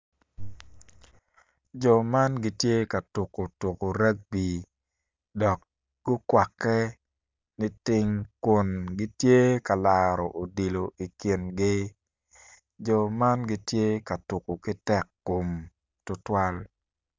Jo man gitye ka tuko tuko ragby dok gukwakke niting kun gitye ka laro odilo i kingi jo man gitye ka tuko ki tekkom tutwal.